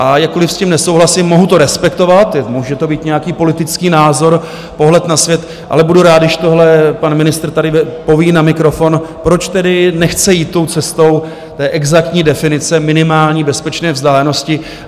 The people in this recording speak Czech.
A jakkoliv s tím nesouhlasím, mohu to respektovat, může to být nějaký politický názor, pohled na svět, ale budu rád, když tohle pan ministr tady poví na mikrofon, proč tedy nechce jít tou cestou té exaktní definice minimální bezpečné vzdálenosti.